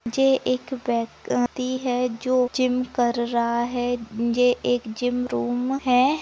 जे एक व्यक्ति है जो जिम कर रहा है। जेएक जिम रूम है।